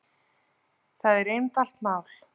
Það er einfalt mál